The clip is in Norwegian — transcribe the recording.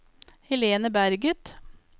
Helena Berget